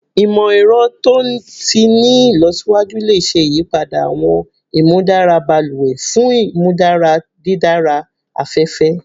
Imọ-ẹrọ to ti ni ilọsiwaju le ṣe iyipada awọn imudara baluwe fun imudara didara afẹfẹ